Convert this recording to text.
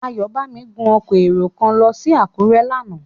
Ayọ̀bámi gun ọkọ̀ èrò kan lọ sí Àkúrẹ́ lánàá.